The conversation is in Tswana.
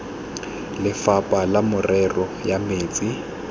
lefapha la merero ya metsi